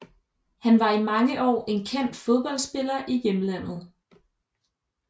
Han var i mange år en kendt fodboldspiller i hjemlandet